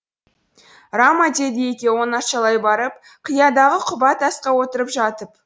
рама деді екеуі оңашалай барып қиядағы құба тасқа отырып жатып